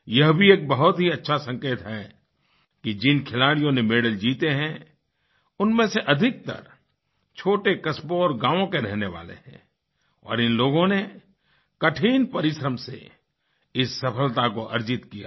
यह भी एक बहुत ही अच्छा संकेत है कि जिन खिलाड़ियों ने मेडल जीते हैं उनमें से अधिकतर छोटे कस्बों और गाँव के रहने वाले हैं और इन लोगों ने कठिन परिश्रम से इस सफ़लता को अर्जित किया है